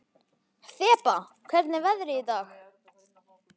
Þeba, hvernig er veðrið í dag?